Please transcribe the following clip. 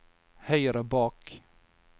høyre bak